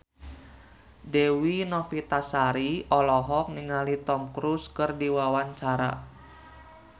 Dewi Novitasari olohok ningali Tom Cruise keur diwawancara